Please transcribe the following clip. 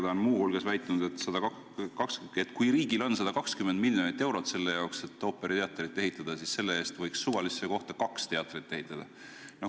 Ta on muu hulgas väitnud, et kui riigil on 120 miljonit eurot selle jaoks, et ooperiteater ehitada, siis selle eest võiks suvalisse kohta kaks teatrit ehitada.